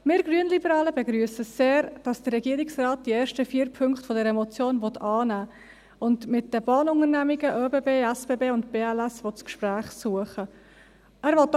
Wir Grünliberalen begrüssen sehr, dass der Regierungsrat die ersten vier Punkte der Motion annehmen will und mit den Bahnunternehmungen ÖBB, SBB und BLS das Gespräch suchen will.